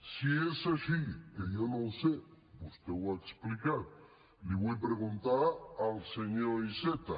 si és així que jo no ho sé vostè ho ha explicat li vull preguntar al senyor iceta